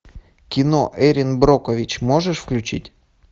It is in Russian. кино эрин брокович можешь включить